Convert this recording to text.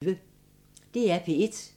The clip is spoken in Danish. DR P1